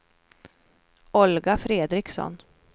Olga Fredriksson